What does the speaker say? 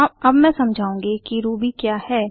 अब मैं समझाऊँगी कि रूबी क्या है